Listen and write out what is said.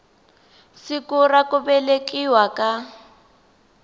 siku ra ku velekiwa ka